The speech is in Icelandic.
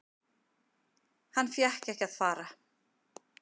Hann fékk ekki að fara.